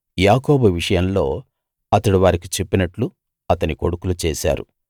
యాకోబు విషయంలో అతడు వారికి చెప్పినట్లు అతని కొడుకులు చేశారు